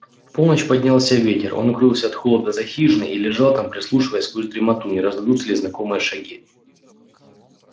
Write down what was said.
в полночь поднялся ветер он укрылся от холода за хижиной и лежал там прислушиваясь сквозь дремоту не раздадутся ли знакомые шаги